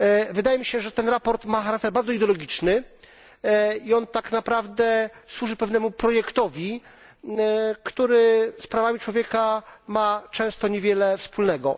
Wydaje mi się, że to sprawozdanie ma charakter bardzo ideologiczny i ono tak naprawdę służy pewnemu projektowi, który z prawami człowieka ma często niewiele wspólnego.